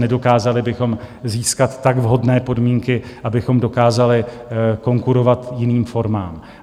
Nedokázali bychom získat tak vhodné podmínky, abychom dokázali konkurovat jiným formám.